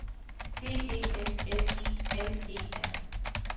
D E L F I N E R